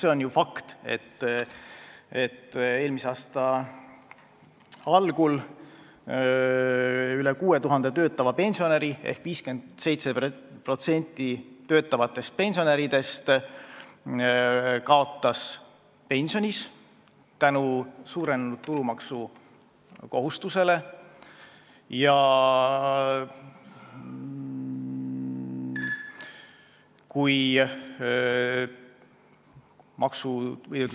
See on ju fakt, et eelmise aasta algul üle 6000 töötava pensionäri ehk 57% töötavatest pensionäridest suurenenud tulumaksukohustuse tõttu kaotas.